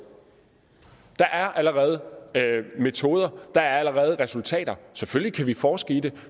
der er allerede metoder der er allerede resultater selvfølgelig kan vi forske i det